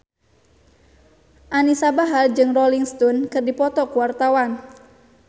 Anisa Bahar jeung Rolling Stone keur dipoto ku wartawan